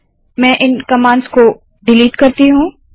मैं इन कमांड्स को डिलीट करती हूँ